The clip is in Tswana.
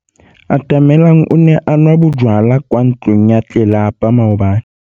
Atamelang o ne a nwa bojwala kwa ntlong ya tlelapa maobane.